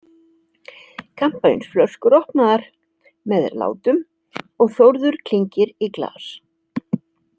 Kampavínsflöskur opnaðar með látum og Þórður klingir í glas.